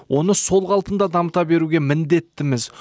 оны сол қалпында дамыта беруге міндеттіміз